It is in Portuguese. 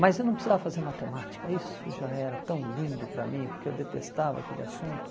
Mas eu não precisava fazer matemática, isso já era tão lindo para mim, porque eu detestava aquele assunto.